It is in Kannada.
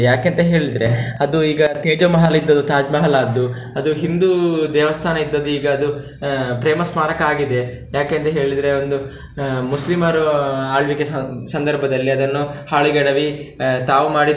ಯಾಕೆಂತ ಹೇಳಿದ್ರೆ ಅದು ಈಗ Teja Mahal ಇದ್ದದ್ದು Taj Mahal ಆದ್ದು ಅದು ಹಿಂದೂ ದೇವಸ್ಥಾನ ಇದ್ದದ್ದು ಈಗ ಅದು ಪ್ರೇಮ ಸ್ಮಾರಕ ಆಗಿದೆ ಯಾಕೆಂತ ಹೇಳಿದ್ರೆ ಒಂದು, ಮುಸ್ಲಿಮರು ಆಳ್ವಿಕೆ ಸಂ~ ಸಂದರ್ಭದಲ್ಲಿ ಅದನ್ನು ಹಾಳು ಗೆಡವಿ ತಾವು ಮಾಡಿದ್ದು.